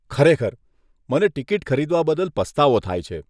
ખરેખર, મને ટીકીટ ખરીદવા બદલ પસ્તાવો થાય છે.